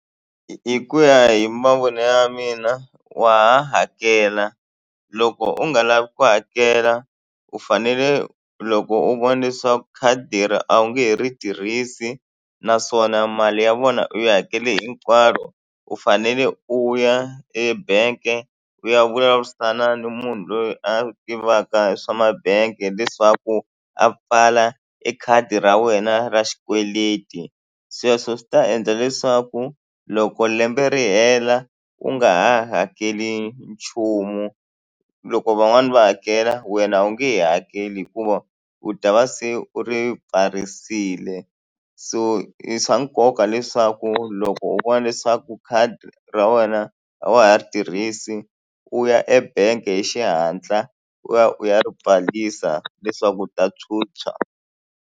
Hi ku ya hi mavonele ya mina wa ha hakela loko u nga lavi ku hakela u fanele u loko u vona leswaku khadi ra a wu nge he ri tirhisi naswona mali ya vona u yi hakele hinkwayo u fanele u ya ebank-e u ya vulavurisana na munhu loyi a tivaka hi swa mabangi leswaku a pfala e khadi ra wena ra xikweleti sweswo swi ta endla leswaku loko lembe ri hela u nga ha hakeli nchumu loko van'wani va hakela wena u nge he hakeli hikuva u ta va se u ri pfarisile so i swa nkoka leswaku loko u vona leswaku khadi ra wena a wa ha ri tirhisi u ya ebank-e hi xihatla u ya u ya ri pfalisa leswaku u ta phyuphya.